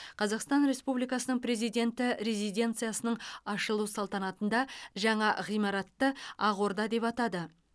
қазақстан республикасының президенті резиденциясының ашылу салтанатында жаңа ғимаратты ақ орда деп атады